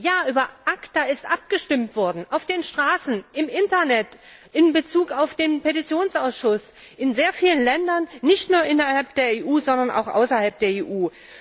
Ja, über ACTA ist abgestimmt worden, auf den Straßen, im Internet, in Bezug auf den Petitionsausschuss, in sehr vielen Ländern nicht nur in der EU, sondern auch außerhalb der EU!